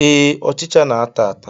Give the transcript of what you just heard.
Ee, ọchịcha na-ata ata